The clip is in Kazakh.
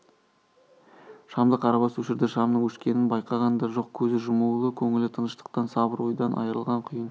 шамды қарабас өшірді шамның өшкенін байқаған да жоқ көзі жұмулы көңілі тыныштықтан сабыр ойдан айрылған құйын